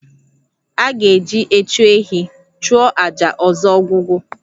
A ga-eji echu ehi chụọ àjà ọzọ Ogwugwu